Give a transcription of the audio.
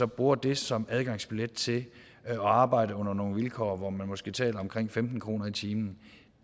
bruger det som adgangsbillet til at arbejde under nogle vilkår hvor man måske taler om femten kroner i timen